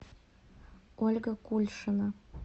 ольга кульшина